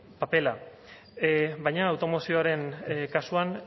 papera baina automozioaren kasuan